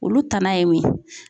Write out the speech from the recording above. Olu tana ye mun ye?